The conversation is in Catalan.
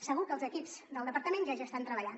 segur que els equips del departament ja hi estan treballant